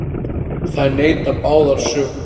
Þær neita báðar sök.